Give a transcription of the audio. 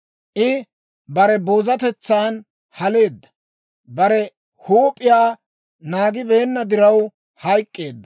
I bare boozatetsan haleedda; bare huup'iyaa naagibeenna diraw hayk'k'eedda.